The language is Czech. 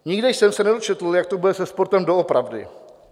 Nikde jsem se nedočetl, jak to bude se sportem doopravdy.